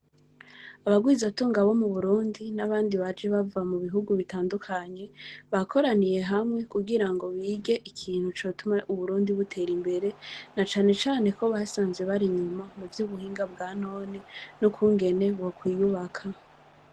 Abarwizatunga bo mu Burundi, n’abandi baje bava mu bihugu bitandukanye, bakoraniye hamwe kugirango bige ikintu cotuma Uburundi butera imbere, na cane cane ko basanze bari inyuma mu vy’ubuhinga bwa none n’ukungene bokwiyubaka.